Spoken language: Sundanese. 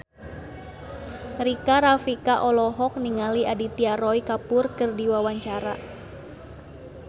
Rika Rafika olohok ningali Aditya Roy Kapoor keur diwawancara